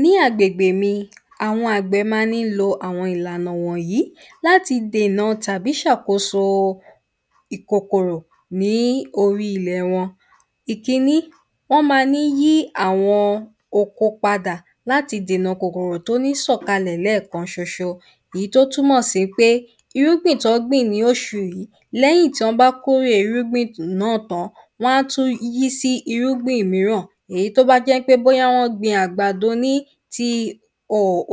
ní agbègbè mi àwọn àgbẹ ma ní lo àwọn ìlànà wọ̀nyìí láti dèna tàbí ṣàkóso ìkòkòrò ní orí ilẹ̀ wọn ìkíní wọ́n ma ní yí àwọn oko padà láti dèna kòkòrò tó ní sọ̀ kalẹ̀ lẹ́ẹ̀kan ṣoṣo ìyí tó túmọ̀ sí í pé irúgbìn tọ́ gbìn lóṣù yìí lẹ́yìn tọ́ bá kórè irúgbìn náà tán wọ́n á tú yí sí irúgbìn míràn èyí tó bá jẹ́ pé bóyá wọ́n gbin àgbàdo ní tí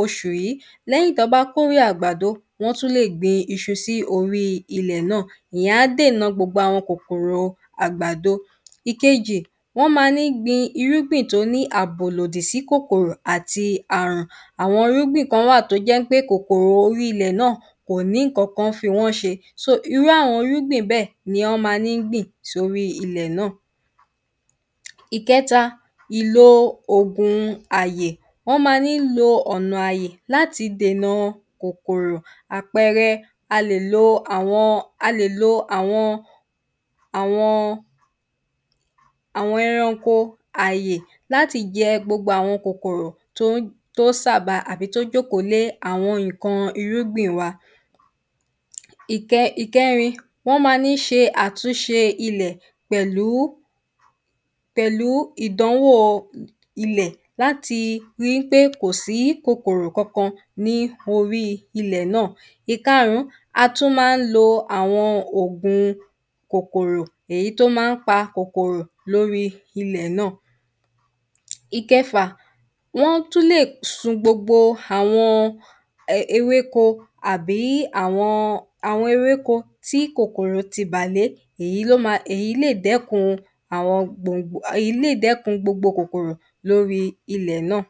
oṣù yí lẹ́yìn tọ́ bá kórè àgbàdo wọ́n tú lè gbin iṣu sí orí ilẹ̀ náàwọ́n tú lè gbin iṣu sí orí ilẹ̀ náà ìyẹn á dènà gbogbo àwọn kòkòrò àgbàdo ìkeji wọn ma ní gbin irúgbìn tó ní àbò ìlòdìsì kòkòrò àti àrùn àwọn irúgbìn kan wà tó jẹ́ pé kòkòrò orí ilẹ̀ kò ní ǹkankan fi wọ́n ṣe so irú àwọn irúgbìn bẹ́ẹ̀ ni ọ́ ma ní gbìn sorí ilẹ̀ náà ìkẹ́ta ìlò ògun àyè ọ́ ma ní lo ọ̀nà àyè láti dènaa kòkòrò àpẹẹrẹ a lè lo àwọn a lè lo àwọn àwọn àwọn ẹranko àyè láti jẹ gbogbo àwọn kòkòrò tó sàba àbí tó jókòó lé àwọn iǹkan irúgbìn wa ìkẹ́rin wọ́n má ní ṣe àtúnṣe ilẹ̀ pẹ̀lú pẹ̀lú ìdánwò ilẹ̀ láti ri ́ pé kò sí kòkòrò kankan ní orí ilẹ̀ náà ìkarùn-ún a tú má ń lo àwọn ògun kòkòrò èyí to má ń pa kòkòrò lóri ilẹ̀ náà ìkẹfà wọ́n tú lè sun gbogbo àwọn ewéko àbí àwọn àwọn ewéko tí kòkòrò ti bà lé èyí lè dẹ́kun èyí lè dẹ́kun gbogbo kòkòrò lóri ilẹ̀ náà